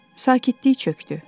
Sakitlik çökdü.